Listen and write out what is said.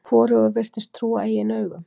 Hvorugur virtist trúa eigin augum.